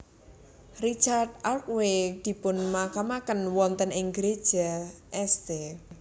Richard Arkwright dipunmakamaken wonten ing Gereja St